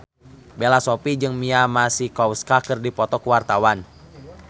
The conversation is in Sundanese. Bella Shofie jeung Mia Masikowska keur dipoto ku wartawan